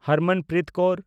Harmanpreet Kaur